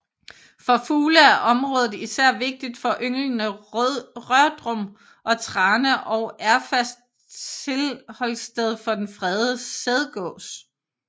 For fugle er området især vigtigt for ynglende rørdrum og trane og erfast tilholdssted for den fredede sædgås